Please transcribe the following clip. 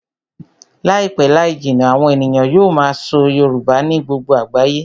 Láìpẹ́ láì jìnnà, àwọn ènìyàn yóò máa sọ Yorùbá ní gbogbo àgbáyé